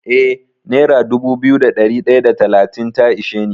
Eh nera dubu biyu da ɗari ɗaya da talatin ta ishe ni.